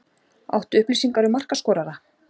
Áttu upplýsingar um markaskorara?